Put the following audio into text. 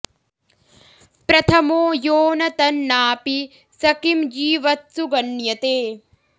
प्रथमो यो न तन्नापि स किं जीवत्सु गण्यते